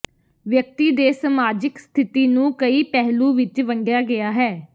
ਵਿਅਕਤੀ ਦੇ ਸਮਾਜਿਕ ਸਥਿਤੀ ਨੂੰ ਕਈ ਪਹਿਲੂ ਵਿੱਚ ਵੰਡਿਆ ਗਿਆ ਹੈ